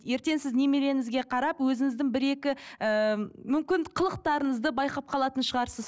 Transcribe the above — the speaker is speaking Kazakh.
ертең сіз немереңізге қарап өзіңіздің бір екі ыыы мүмкін қылықтарыңызды байқап қалатын шығарсыз